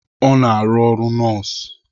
Ọ na-arụ ọrụ nọọsụ.